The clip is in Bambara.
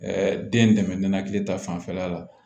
den dɛmɛ ninakili ta fanfɛla la